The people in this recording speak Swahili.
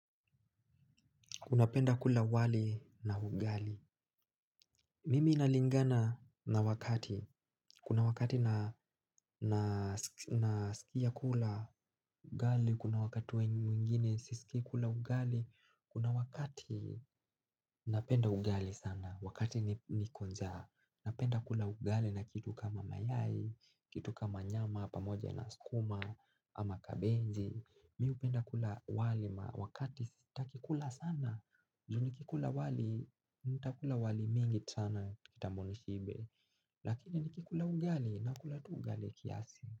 Una penda kula wali na ugali. Mimi nalingana na wakati. Kuna wakati nasikia kula ugali. Kuna wakati wengine sisiki kula ugali. Kuna wakati napenda ugali sana. Wakati niko nja napenda kula ugali na kitu kama mayai kitu kama nyama pamoja na skuma. Ama kabenji mi upenda kula wali wakati staki kula sana juu nikikula wali, nitakula wali mingi sana kitambo nishibe. Lakini nikikula ugali nakulatu ugali kiasi.